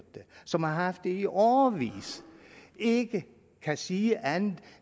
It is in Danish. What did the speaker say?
som har haft det i årevis ikke kan sige andet